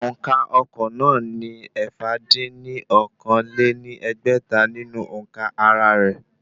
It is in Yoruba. Òǹkà ọkọ̀ náà ní ẹ̀fà dín ní okòó-lé-ní-ẹgbẹ́ta nínú òǹkà ara rẹ̀